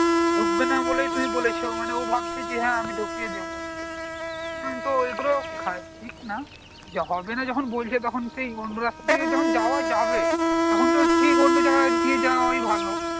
ঢুকবে না বলেই তুমি বলেছ আর ও ভাবছে যে হ্যাঁ আমি ঢুকিয়ে দেবো তো ওগুলো ঠিক না হবে না যখন বলছে তখন সেই অন্য রাস্তা তে যখন যাওয়া যাবে তখন তো ঠিক অন্য জায়গা দিয়ে যাওয়াই ভালো